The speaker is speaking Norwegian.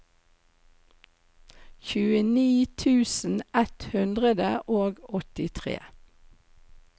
tjueni tusen ett hundre og åttitre